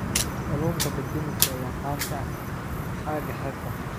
Kalluunka dab-demiska ayaa caan ka ah aagga xeebta.